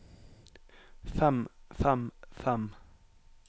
fem fem fem